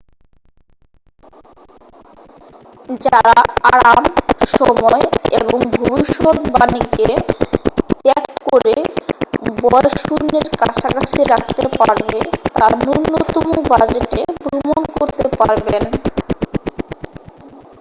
যাঁরা আরাম সময় এবং ভবিষ্যদ্বাণীকে ত্যাগ করে ব্য়য় শূন্যের কাছাকাছি রাখতে পারবে তা ন্যূনতম বাজেটে ভ্রমণ করতে পারবেন